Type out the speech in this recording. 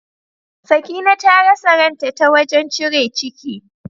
Sakina ta rasa ran ta, ta wajen cire ciki.